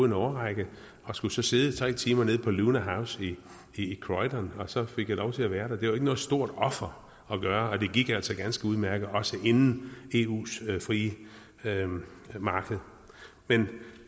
en årrække og skulle så sidde i tre timer nede på lunar house i croydon og så fik jeg lov til at være der det noget stort offer at gøre det og det gik altså ganske udmærket også inden eus frie marked men